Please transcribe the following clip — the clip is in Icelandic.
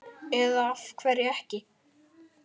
Eða af hverju ekki?